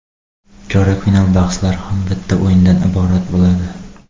Chorak final bahslari ham bitta o‘yindan iborat bo‘ladi.